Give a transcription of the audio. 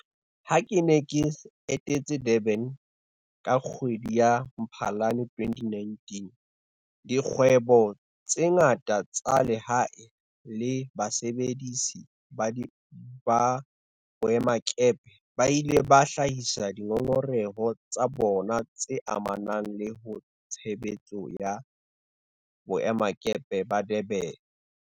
Ha ke ne ke etetse Durban ka kgwedi ya Mphalane 2019, dikgwebo tse ngata tsa lehae le basebedisi ba boemakepe ba ile ba hlahisa dingongoreho tsa bona tse amanang le tshebetso ya boemakepe ba Durban ho nna.